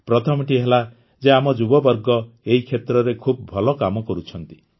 ପ୍ରଥମଟି ହେଲା ଯେ ଆମ ଯୁବବର୍ଗ ଏହି କ୍ଷେତ୍ରରେ ଖୁବ ଭଲ କାମ କରୁଛନ୍ତି